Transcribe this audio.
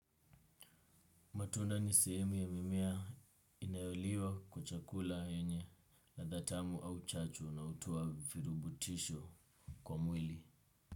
Matunda ni sehemu ya mimea inayoliwa kwa chakula yenye ladha tamu au chach unaotoa virubutisho kwa mwili.